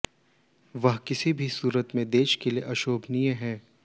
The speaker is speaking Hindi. वह किसी भी सूरत में देश के लिए अशोभनीय है